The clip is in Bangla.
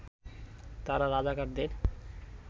তারা রাজাকারদের